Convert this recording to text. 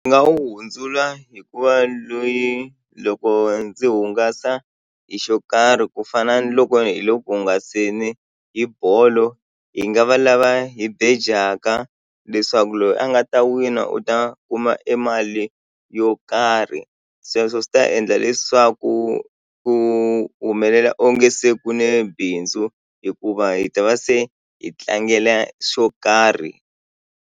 Ni nga wu hundzula hikuva loyi loko ndzi hungasa hi xo karhi ku fana ni loko hi le ku hungaseni hi bolo hi nga va lava hi bejaka leswaku loyi a nga ta wina u ta kuma e mali yo karhi sweswo swi ta endla leswaku ku humelela onge se ku ne bindzu hikuva hi ta va se hi tlangela xo karhi.